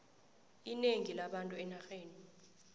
inengi labantu enarheni